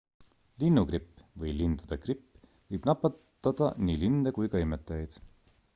linnugripp või lindude gripp võib nakatada nii linde kui ka imetajaid